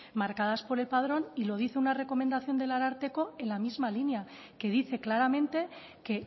marcadas por el padrón y lo dice una recomendación del ararteko en la misma línea que dice claramente que